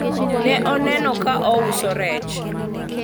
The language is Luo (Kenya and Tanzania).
ne anene ka ouso rech